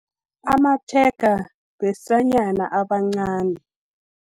Amatshega, besanyana abancani.